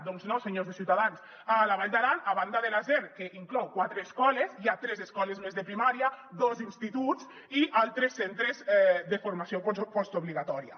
doncs no senyors de ciutadans a la vall d’aran a banda de la zer que inclou quatre escoles hi ha tres escoles més de primària dos instituts i altres centres de formació postobligatòria